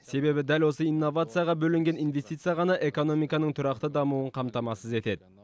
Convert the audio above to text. себебі дәл осы инновацияға бөлінген инвестиция ғана экономиканың тұрақты дамуын қамтамасыз етеді